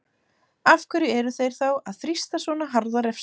Af hverju eru þeir þá að þrýsta á svona harða refsingu?